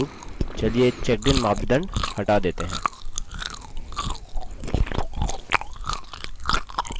उदाहरणस्वरुप चलिए checked इन मापदंड हटा देते हैं